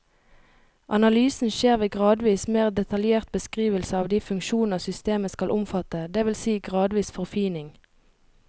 Analysen skjer ved gradvis mer detaljert beskrivelse av de funksjoner systemet skal omfatte, det vil si gradvis forfining.